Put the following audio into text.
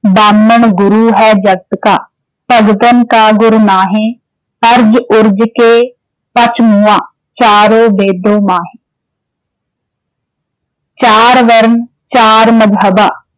ਬਾਮਨੁ ਗੁਰੂ ਹੈ ਜਗਤ ਕਾ ਭਗਤਨ ਕਾ ਗੁਰੁ ਨਾਹਿ ਅਰਝਿ ਉਰਝਿ ਕੈ ਪਚਿ ਮੂਆ ਚਾਰਉ ਬੇਦਹੁ ਮਾਹਿ ਚਾਰਿ ਵਰਨ, ਚਾਰਿ ਮਜਹਬਾਂ